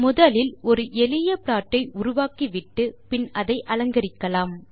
முதலில் ஒரு எளிய ப்ளாட் ஐ உருவாக்கிவிட்டு பின் அதை அலங்கரிக்கலாம்